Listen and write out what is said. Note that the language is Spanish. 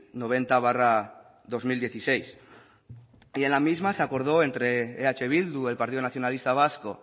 noventa barra dos mil dieciséis en la misma se acordó entre eh bildu el partido nacionalista vasco